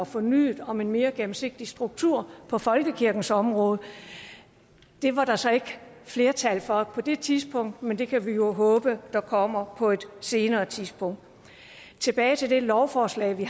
fornyet og mere gennemsigtig struktur på folkekirkens område det var der så ikke flertal for på det tidspunkt men det kan vi jo håbe der kommer på et senere tidspunkt tilbage til det lovforslag vi